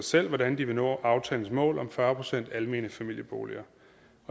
selv hvordan de vil nå aftalens mål om fyrre procent almene familieboliger